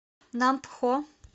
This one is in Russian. нампхо